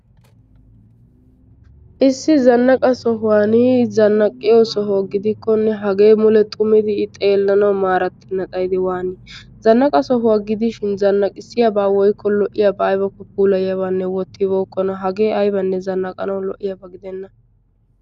Issi zannaqa sohuwan zannaqa soho gidikkonne hage mule xumidi xeelanaw maratennan ixxid waan! zannaqa sohuwa gidihin zannaqissiyaaba woykko lo'iyaaba aybbakko puulayaaba wottibokkona hage aybbanne zannaqanaw lo@iyaaba gidena.